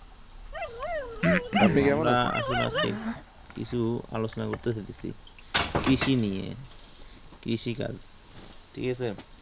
আসুন আজকে কিছু আলোচনা করতেসি কৃষি নিয়ে কৃষিকাজ ঠিকআছে